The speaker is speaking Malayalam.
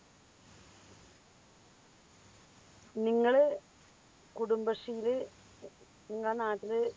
നിങ്ങള് കുടുംബശ്രീയില് നിങ്ങ നാട്ടില്